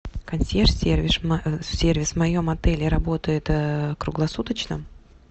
консьерж сервис в моем отеле работает круглосуточно